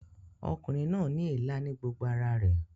Ọkùnrin náà ní èélá ní gbogbo ara rẹ̀